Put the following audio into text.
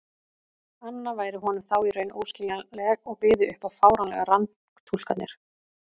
anna væri honum þá í raun óskiljanleg og byði upp á fáránlegar rangtúlkanir.